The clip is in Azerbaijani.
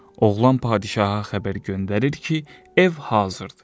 Oğlan padişaha xəbər göndərir ki, ev hazırdır.